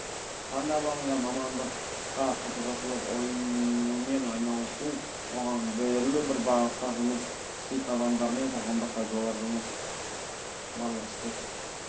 таңдап алынған мамандыққа қызығушылық онымен айналысу оған берілу бір бағытта жұмыс істейтін адамдармен қоғамдық пайдалы жұмыс барлық істе